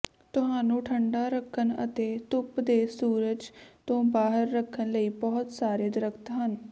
ਤੁਹਾਨੂੰ ਠੰਢਾ ਰੱਖਣ ਅਤੇ ਧੁੱਪ ਦੇ ਸੂਰਜ ਤੋਂ ਬਾਹਰ ਰੱਖਣ ਲਈ ਬਹੁਤ ਸਾਰੇ ਦਰਖ਼ਤ ਹਨ